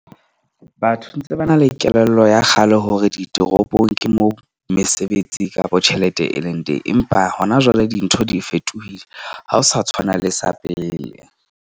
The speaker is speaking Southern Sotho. Batho ntse ba na le kelello ya kgale hore ditoropong ke mo mesebetsi kapa tjhelete e leng teng, empa hona jwale dintho di fetohile, ha ho sa tshwana le sa pele.